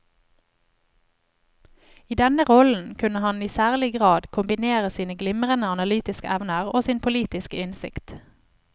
I denne rollen kunne han i særlig grad kombinere sine glimrende analytiske evner og sin politiske innsikt.